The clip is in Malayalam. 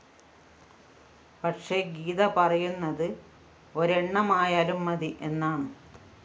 പക്ഷേ ഗീത പറയുന്നതു ഒരെണ്ണമായാലും മതി എന്നാണ്